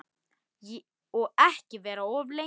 Og ekki vera of lengi.